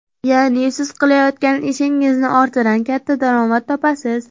Ya’ni siz qilayotgan ishingizning ortidan katta daromad topasiz.